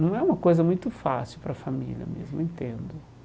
Não é uma coisa muito fácil para a família mesmo, eu entendo.